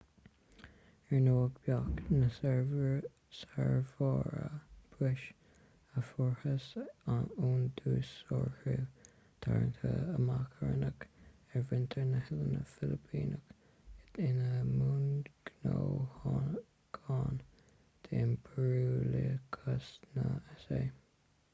ar ndóigh bheadh ​​na sárbhrabúis a fuarthas ón dúshaothrú tarraingthe amach a rinneadh ar mhuintir na noileán filipíneach ina mbunghnóthachain d'impiriúlachas na s.a